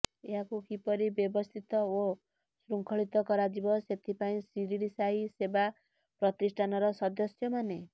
ଏହାକୁ କିପରି ବ୍ୟବସ୍ଥିତ ଓ ଶୃଙ୍ଖଳିତ କରାଯିବ ସେଥିପାଇଁ ସିରିଡ଼ି ସାଇ ସେବା ପ୍ରତିଷ୍ଠାନର ସଦସ୍ୟମାନେ